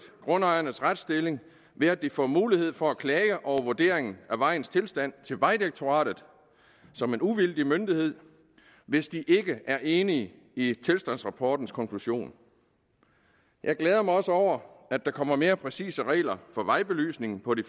grundejernes retsstilling ved at de får mulighed for at klage over vurderingen af vejens tilstand til vejdirektoratet som en uvildig myndighed hvis de ikke er enige i tilstandsrapportens konklusion jeg glæder mig også over at der kommer mere præcise regler for vejbelysningen på de